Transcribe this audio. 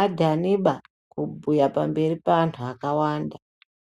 adhaniba kubhuye pamberi peanhu akawanda.